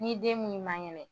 N'i den min man kɛnɛ